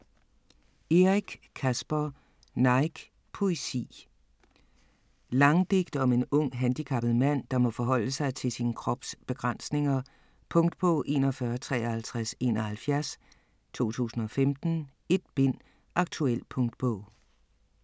Eric, Caspar: Nike: poesi Langdigt om en ung, handicappet mand, der må forholde sig til sin krops begrænsninger. Punktbog 415371 2015. 1 bind. Aktuel punktbog